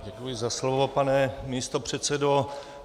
Děkuji za slovo, pane místopředsedo.